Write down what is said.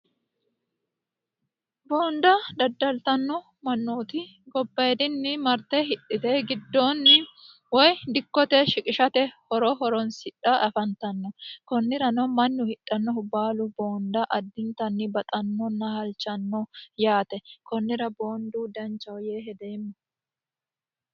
Boonida daddalittanno manooti gobayidinni maritte hidhite gidooni woy dikkote shiqishate horo horonisidhay afanittano konnirano mannu hidhanohu bqalu boonboonda addinittani baxannona halichanno yaate konnira booniddu danichaho yee hedeema